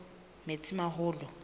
metsimaholo